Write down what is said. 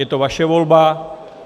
Je to vaše volba.